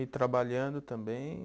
E trabalhando também?